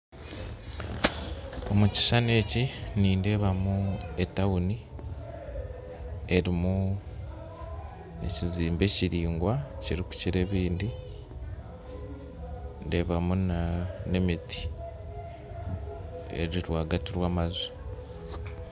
Omu kishushani eki nindeebamu etawuni, erimu ekizimbe kiringwa kirikukira ebindi, ndeebamu n'emiti eri rwaagati rw'amaju.